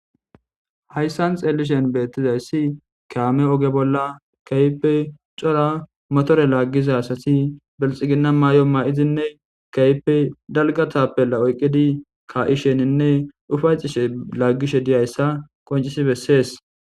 hayssan xeelishen beettizayssi keame oge bolla kaype cora motore laaggisa asati belxigina maayo ma7izinne kaype dalgatappela oyqqidi ka7isheninne ufaycishe laaggishe diyayssa qoncisi bessees